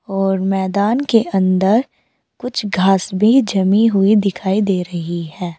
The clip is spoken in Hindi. और मैदान के अंदर कुछ घास भी जमी हुई दिखाई दे रही है।